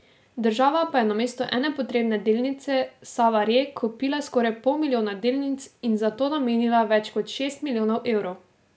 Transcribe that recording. Država pa je namesto ene potrebne delnice Save Re kupila skoraj pol milijona delnic in za to namenila več kot šest milijonov evrov.